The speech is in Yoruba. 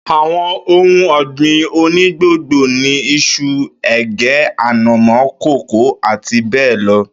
Àwo̩n ohun ò̩gbìn onígbòngbò ni is̩u, è̩gé̩, ànàmó, kókò, àti bé̩è̩ lo̩